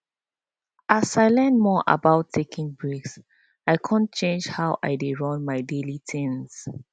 as i learn more about taking breaks i come change how i dey run my daily things